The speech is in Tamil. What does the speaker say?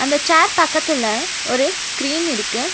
அந்த சேர் பக்கத்துல ஒரு ஸ்கிரீன் இருக்கு.